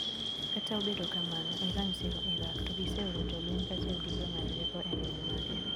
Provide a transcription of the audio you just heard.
Kata obedo kamano Iran siro Iraq to giseoro jolweny kachiel gi jong`ad rieko elweny mage.